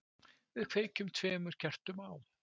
Við kveikjum tveimur kertum á